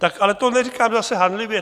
Tak ale to neříkám zase hanlivě.